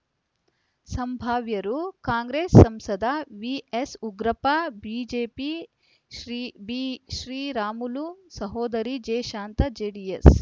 ಸಂಭಾವ್ಯರು ಕಾಂಗ್ರೆಸ್‌ ಸಂಸದ ವಿಎಸ್‌ಉಗ್ರಪ್ಪ ಬಿಜೆಪಿಶ್ರೀ ಬಿಶ್ರೀರಾಮುಲು ಸಹೋದರಿ ಜೆಶಾಂತಾ ಜೆಡಿಎಸ್‌